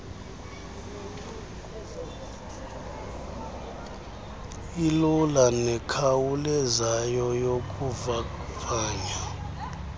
ilula nekhawulezayo yokuvavanya